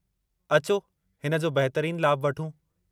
अचो, हिन जो बहितरीन लाभु वठूं।